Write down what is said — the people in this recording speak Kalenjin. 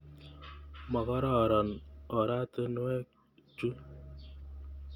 Makororon oratinwek chu.